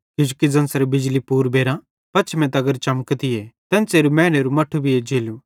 किजोकि ज़ेन्च़रे बिजली पूर्बेरां पछमें तगर चमकतीए एन्च़रे मैनेरू मट्ठू भी एज्जेलू